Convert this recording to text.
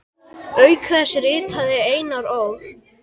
Auk þess ritaði Einar Ól.